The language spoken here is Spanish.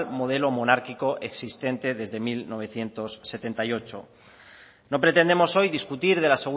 modelo monárquico existente desde mil novecientos setenta y ocho no pretendemos hoy discutir de la